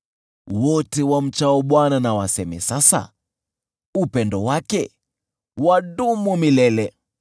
Wote wamchao Bwana na waseme sasa: “Upendo wake wadumu milele.”